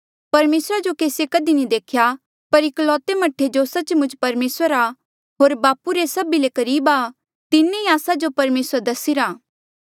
परमेसरा जो केसिए कधी नी देख्या पर एकलौते मह्ठे जो सच्च मुच परमेसर आ होर बापू रे सभी ले करीब आ तिन्हें ई आस्सा जो परमेसर दसिरा